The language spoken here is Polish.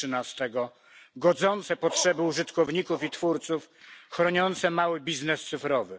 13, godzące potrzeby użytkowników i twórców, chroniące mały biznes cyfrowy.